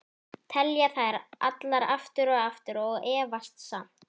Telja þær allar, aftur og aftur- og efast samt.